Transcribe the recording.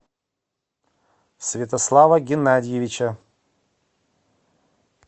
святослава геннадьевича